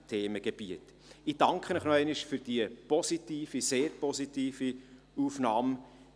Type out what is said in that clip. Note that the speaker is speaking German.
Ich danke Ihnen noch einmal für die positive, sehr positive Aufnahme.